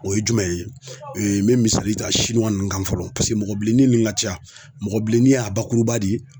O ye jumɛn ye, n be misali ta ninnu kan fɔlɔ paseke mɔgɔ bilenni nin ŋa ca. Mɔgɔ bilenni a bakuruba de ye